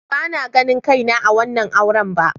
Bana ganin kaina a wannan auren ba.